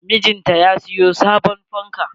Mijinta ya siyo sabon fanka.